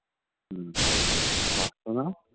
হম পারতো না